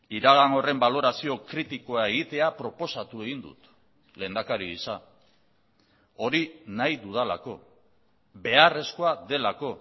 iragan horren balorazio kritikoa egitea proposatu egin dut lehendakari gisa hori nahi dudalako beharrezkoa delako